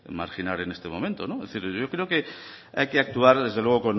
marginar en este momento es decir yo creo que hay actuar desde luego